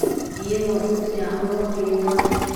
Biyaha waa in si fiican loo kaydiyaa.